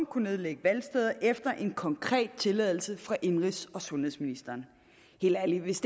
kunne nedlægge valgsteder efter en konkret tilladelse fra indenrigs og sundhedsministeren helt ærligt hvis